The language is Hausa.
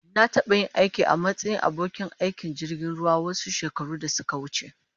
Na taɓa yin aiki a matsayin abokin aikin jirgin ruwa wasu shekaru da suka wuce.